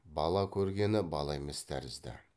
бала көргені бала емес тәрізді